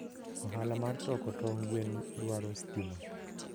ohala mar toko tong gwen daro stima